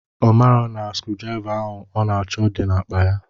Ọ ma na screwdriver ọ na-achọ dị n'akpa ya.